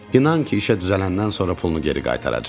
İnan ki, işə düzələndən sonra pulunu geri qaytaracam.